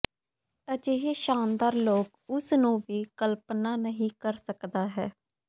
ਅਜਿਹੇ ਸ਼ਾਨਦਾਰ ਲੋਕ ਉਸ ਨੂੰ ਵੀ ਕਲਪਨਾ ਨਹੀ ਕਰ ਸਕਦਾ ਹੈ